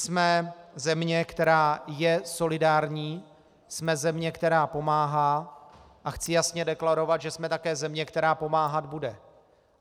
Jsme země, která je solidární, jsme země, která pomáhá, a chci jasně deklarovat, že jsme také země, která pomáhat bude.